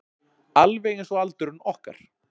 Alveg einsog aldurinn okkar.